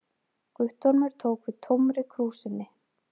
Guttormur tók við tómri krúsinni.